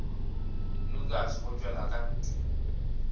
lukas go tšwela ka ntle